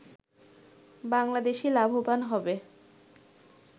বাংলাদেশই লাভবান হবে